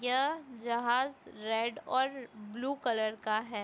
यह जहाज रेड और ब्लू कलर का हैं।